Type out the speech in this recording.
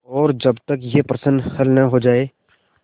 और जब तक यह प्रश्न हल न हो जाय